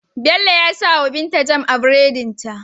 Bello ya sawa binta jam a buredin ta